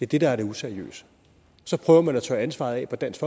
det der er det useriøse så prøver man at tørre ansvaret af på dansk